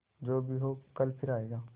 जो भी हो कल फिर आएगा